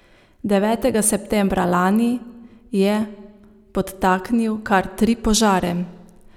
Devetega septembra lani je podtaknil kar tri požare.